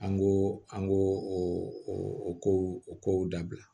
An ko an ko o kow o kow dabila